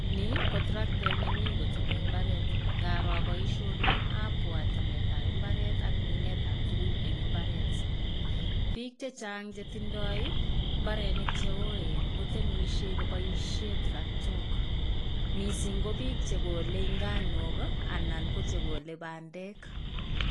Ni ko traktet nemi koteme mbaret nkaro boisioni ak abwat temetab mbaret ak minetab tuguk en mbaret. Piik chechang' chetindoi mbarenik cheoen koboisien turaktok missing' ko bik chekole nganuk anan ko chekole bandek.